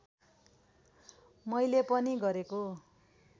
मैले पनि गरेको